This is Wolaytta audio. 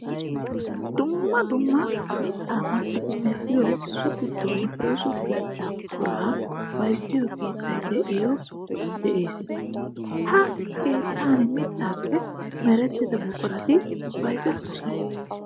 Dumma dumma mitta massiddi medhdhiyo so gidonne oosa keetta buqura bayzziyo keettay dooya de'ees. Ha keettan mittappe merettiya buquratti bayzzetosonna.